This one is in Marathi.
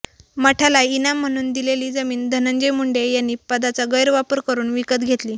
मठाला इनाम म्हणून दिलेली जमीन धनंजय मुंडे यांनी पदाचा गैरवापर करून विकत घेतली